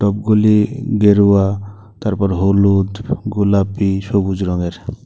গুলি গেরুয়া তারপর হলুদ গুলাপি সবুজ রঙের।